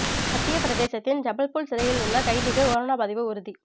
மத்தியப் பிரதேசத்தின் ஐபல்பூர் சிறையில் உள்ள கைதிக்கு கொரோனா பாதிப்பு உறுதி